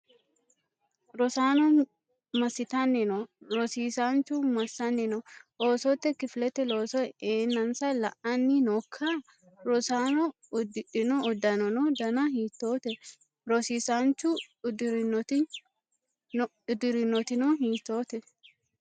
Rosaano massitanni noo? Rosiisaanchuno massanni no? Oosote kifilete looso eensa la'anni nookka? Rosaano udidhino uddanono dana hiittote? Rosiisaanchuno uddirinoti hiittote?